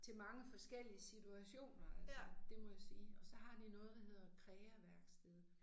Til mange forskellige situationer altså det må jeg sige og så har de noget der hedder KREAværksted